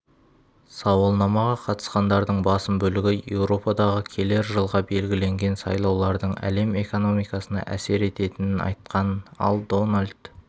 сауалнамаға қатысқандардың басым бөлігі еуропадағы келер жылға белгілінген сайлаулардың әлем экономикасына әсер ететінін айтқан ал дональд